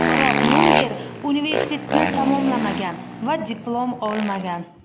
Biroq Munger universitetni tamomlamagan va diplom olmagan.